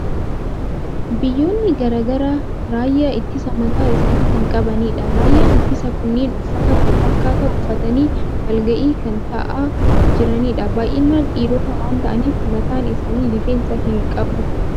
Biyyoonni garaa garaa raayyaa ittisa mataa isaanii kan qabanidha. Raayyaan ittisaa kunneen uffata wal fakkaataa uffatanii wal ga'ii kan taa'aa jiranidha. Baay'inaan dhiirota waan ta'aniif, mataan isaanii rifeensa hin qabu.